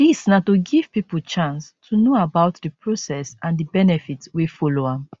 dis na to give pipo chance to know about di process and di benefits wey follow am